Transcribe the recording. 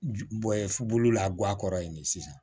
Bɔ bolo la guwan kɔrɔ ye ne sisan